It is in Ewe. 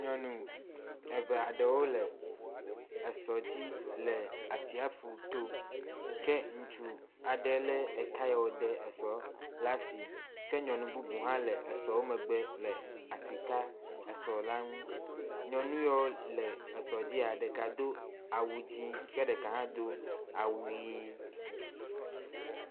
Nyɔnu eve aɖewo le esɔ dzi le atsiaƒuto ke ŋutsu aɖe le eka ya wode esɔ ɖe asi ke nyɔnu bubu hã le esɔ wo megbe le asi kam esɔ la nu. Nyɔnu ya wo le esɔ dzi ɖeka do awu dzi ke ɖeka hã do awu ʋi.